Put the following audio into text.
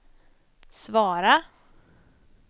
svara